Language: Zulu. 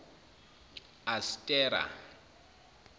astera